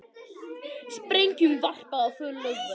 Sprengjum varpað á flugvöll